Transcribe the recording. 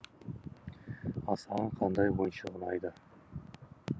ал саған қандай ойыншық ұнайды